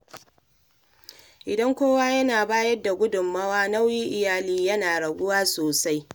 Idan kowa yana bayar da gudunmawa, nauyin iyali yana raguwa sosai.